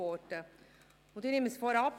Ich nehme es vorweg: